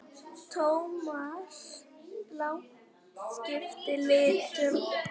Thomas Lang skipti litum.